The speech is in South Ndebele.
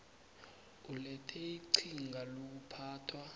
ulethe iqhinga lokuphathwa